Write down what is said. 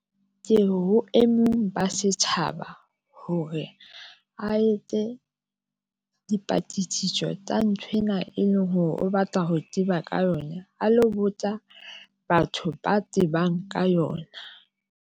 Ke ho e mong ba setjhaba hore a etse dipatlisiso tsa nthwena, e leng hore o batla ho tseba ka yona, a lo botsa batho ba tsebang ka yona.